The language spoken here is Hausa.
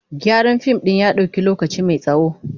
Gyaran fim ɗin ya ɗauki lokaci mai tsawo.